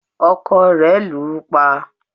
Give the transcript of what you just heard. ọkọ rẹ̀ lù ú pa